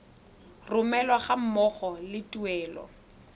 romelwa ga mmogo le tuelo